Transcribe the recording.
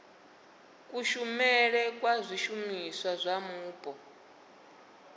kushumisele kwa zwishumiswa zwa mupo